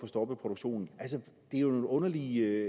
stoppet produktionen altså det er jo underligt